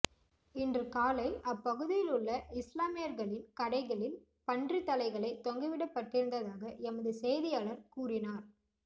இன்று காலை அப்பகுதியில் உள்ள இஸ்லாமியர்களின் கடைகளில் பன்றி தலைகளை தொங்கவிடப்படிருந்ததாக எமது செய்தியாளர் கூறினார்